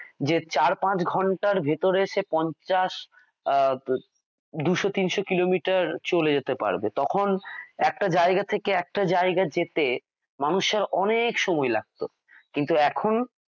যে চার পাঁচ ঘন্টার ভিতরে সে পঞ্চাশ দুশ তিনশো কিলোমিটার চলে যেতে পারবে ।তখন একটা জায়গা থেকে একটা জায়গায় যেতে মানুষের অনেক সময় লাগতো কিন্তু এখন